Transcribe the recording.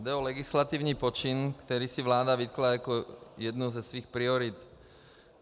Jde o legislativní počin, který si vláda vytkla jako jednu ze svých priorit.